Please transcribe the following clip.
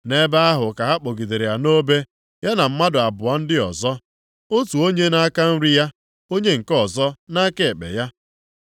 Nʼebe ahụ ka ha kpọgidere ya nʼobe, ya na mmadụ abụọ ndị ọzọ. Otu onye nʼaka nri ya, onye nke ọzọ nʼaka ekpe ya.